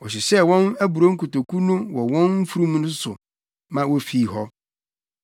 Wɔhyehyɛɛ wɔn aburow nkotoku no wɔ wɔn mfurum no so ma wofii hɔ.